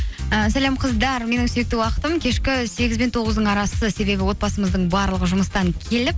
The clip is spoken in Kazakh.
і сәлем қыздар менің сүйікті уақытым кешкі сегіз бен тоғыздың арасы себебі отбасымыздың барлығы жұмыстан келіп